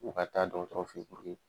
U ka taa dɔgɔtɔrɔ fe yen puruke